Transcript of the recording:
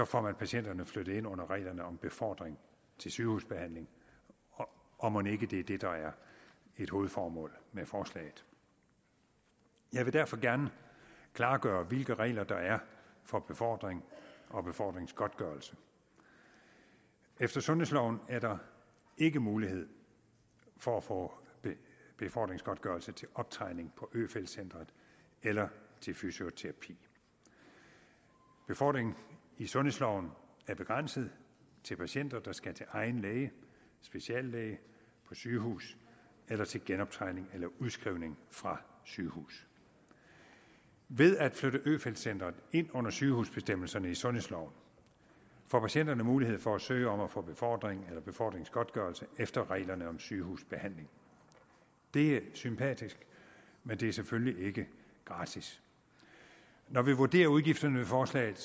får man patienterne flyttet ind under reglerne om befordring til sygehusbehandling og mon ikke det er det der er et hovedformål med forslaget jeg vil derfor gerne klargøre hvilke regler der er for befordring og befordringsgodtgørelse efter sundhedsloven er der ikke mulighed for at få befordringsgodtgørelse til optræning på øfeldt centret eller til fysioterapi befordring i sundhedsloven er begrænset til patienter der skal til egen læge speciallæge på sygehus eller til genoptræning eller udskrivning fra sygehus ved at flytte øfeldt centret ind under sygehusbestemmelserne i sundhedsloven får patienterne mulighed for at søge om at få befordring eller befordringsgodtgørelse efter reglerne om sygehusbehandling det er sympatisk men det er selvfølgelig ikke gratis når vi vurderer udgifterne ved forslaget